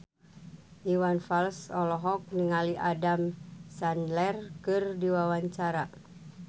Iwan Fals olohok ningali Adam Sandler keur diwawancara